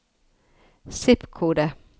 zip-kode